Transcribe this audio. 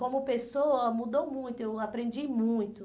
Como pessoa, mudou muito, eu aprendi muito.